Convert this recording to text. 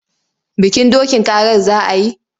Bikin dokin karar za a yi?